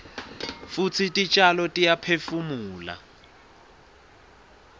futsi titjalo tiyaphefumula